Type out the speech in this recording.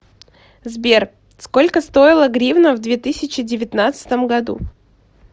сбер сколько стоила гривна в две тысячи девятнадцатом году